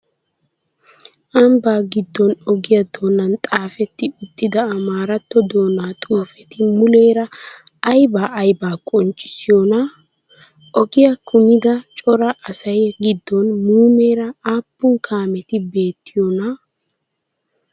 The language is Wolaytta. Ambbaa giddon ogiyaa doonan xaafetti uttida Amaaratto doonaa xuufeti muleera ayibaa ayibaa qonccissiyoonaa? Ogiyaa kumida cora asaa giddon muumeera aappun kaameti beettiyoonaa?